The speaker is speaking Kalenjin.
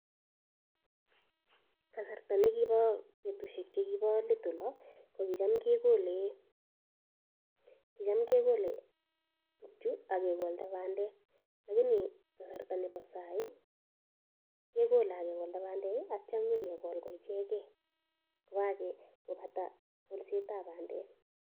Kasarta ne kibo betushek chekibo let olo, ko kicham kegole, kicham kegole chu agegolda bandel lakini kasarta nebo sai kegole ak kegolda bandek, atio nyikegol ko ichegei ko kage kobata kolsetab bandek.